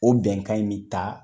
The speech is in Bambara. O bɛnkan in bi ta